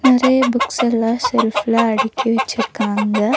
நெறைய புக்ஸெல்லா செல்ஃப் அடுக்கி வெச்சிருக்காங்க.